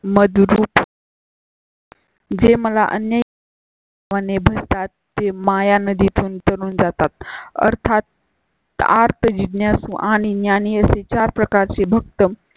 मधु रूप. जे मला अनेक भरता ते माया नदी तून तरून जातात अर्थात आर्त जिज्ञासू आणि ज्ञानी असे चार प्रकारचे भक्त